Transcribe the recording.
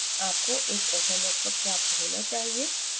आपको एक ऐसा network प्राप्त होना चाहिए